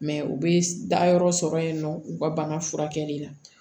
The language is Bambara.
u bɛ dayɔrɔ sɔrɔ yen nɔ u ka bana furakɛli la